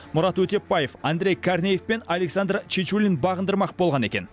мұрат өтепбаев андрей корнеев пен александр чечулин бағындырмақ болған екен